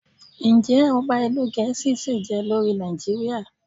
Ǹjẹ́ Ọba ìlú Gẹ̀ẹ́sì ṣìí je lórí Nàìjíríà?